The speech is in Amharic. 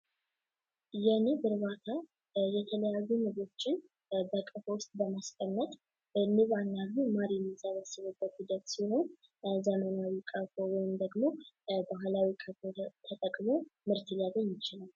የንብ እርባታ የተለያዩ ንቦችን በቀፎ ውስት በማስቀመጥ የሚሰበስበው ሂደት ሲሆን፤ በአብዛኛው አካባቢውን ደግሞ የባህላዊ ቅቡልነት ተጠቅሞ ምርት ሊያገኝ ይችላል።